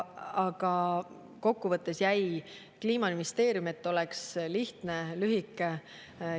Aga kokkuvõttes jäi Kliimaministeerium, et oleks lihtne, lühike.